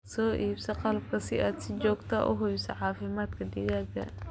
Soo iibso qalabka si aad si joogto ah u hubiso caafimaadka digaagga.